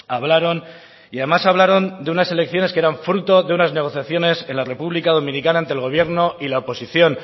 hablaron y además hablaron de unas elecciones que eran fruto de unas negociaciones en la republica dominicana ante el gobierno y la oposición